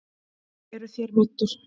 Eruð þér meiddur?